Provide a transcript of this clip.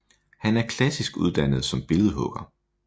Han er klassisk uddannet som billedhugger